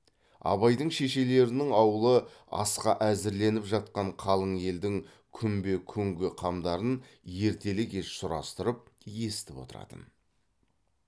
абайдың шешелерінің аулы асқа әзірленіп жатқан қалың елдің күнбе күнгі қамдарын ертелі кеш сұрастырып естіп отыратын